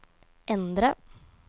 endre